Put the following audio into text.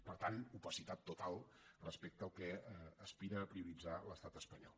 per tant opacitat total respecte al que aspira a prioritzar l’estat espanyol